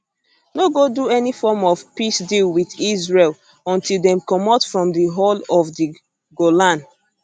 no go do any form of peace deal wit israel until dem comot from di whole of di golan